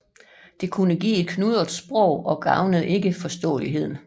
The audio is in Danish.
Det kunne give et knudret sprog og gavnede ikke forståeligheden